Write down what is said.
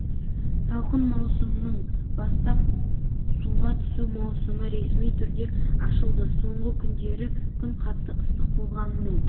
салқын маусымның бастап суға түсу маусымы ресми түрде ашылды соңғы күндері күн қатты ыстық болғанымен